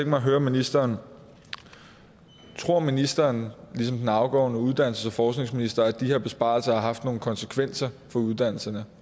mig at høre ministeren om ministeren ligesom den afgåede uddannelses og forskningsminister tror at de her besparelser har haft nogle konsekvenser for uddannelserne